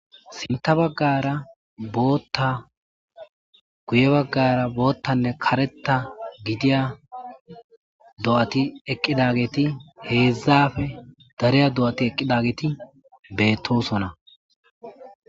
Sintha baggara bootta guye baggara boottanne kareta gidiya do7ati eqqidageeti heedzdzafe dareya do7ati eqqidageeti beettosona.